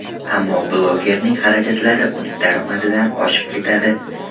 Ammo blogerning xarajatlari uning daromadidan oshib ketadi.